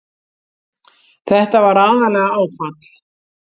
Þetta var aðallega áfall.